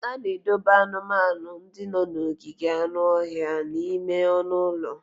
A na-edobe anụmanụ ndị nọ n'ogige anụ ọhịa n'ime ọnụ ụlọ.